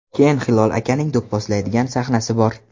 Keyin Hilol akaning do‘pposlaydigan sahnasi bor.